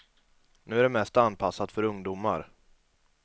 Nu är det mest anpassat för ungdomar.